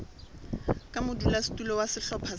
ka modulasetulo wa sehlopha sa